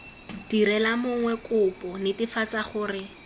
direla mongwe kopo netefatsa gore